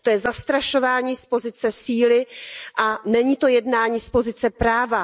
To je zastrašování z pozice síly a není to jednání z pozice práva.